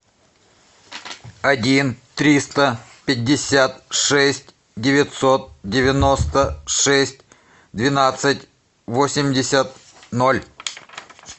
один триста пятьдесят шесть девятьсот девяносто шесть двенадцать восемьдесят ноль